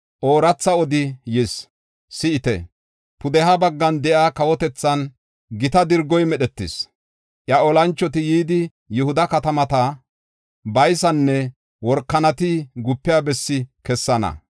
Ooratha odi yis; si7ite. Pudeha baggan de7iya kawotethan gita dirgoy medhetis. Iya olanchoti yidi, Yihuda katamata baysanne workanati gupiya bessi kessana.